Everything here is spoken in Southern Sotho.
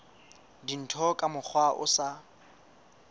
dintho ka mokgwa o sa